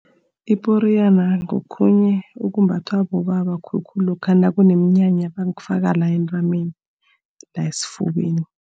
Iporiyana ngokhunye okumbathwa bobaba khulukhulu lokha nakuneminyanya. Bakufaka la entameni, la esifubeni.